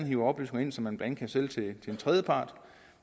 hiver oplysninger ind som man kan sælge til tredjepart